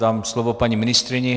Dám slovo paní ministryni.